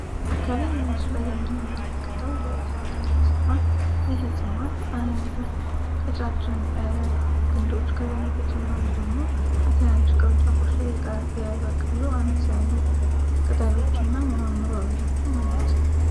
ከላይ መምሱ ላይ የምንመለከታው በእፅዋት ዓይነጽ ነሆን ይህ እጽዋት አ ቀጫጭን ግንዶች ከዛን በተጨማሉ ደግሞ በትናንሽቅርንጫፎች ላይ የበቃሉ አነስ ያሉ ቅጠሎች እና ሚመምሩ አቦቹ አሉት